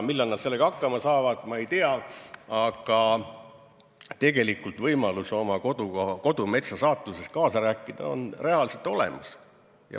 Millal nad sellega hakkama saavad, ma ei tea, aga tegelikult võimalus oma kodumetsa saatuses kaasa rääkida on reaalselt olemas.